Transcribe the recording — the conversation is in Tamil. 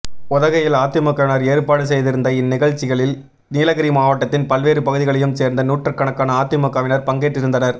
உதகையில் அதிமுகவினா் ஏற்பாடு செய்திருந்த இந்நிகழ்ச்சிகளில் நீலகிரி மாவட்டத்தின் பல்வேறு பகுதிகளையும் சோ்ந்த நூற்றுக்கணக்கான அதிமுகவினா் பங்கேற்றிருந்தனா்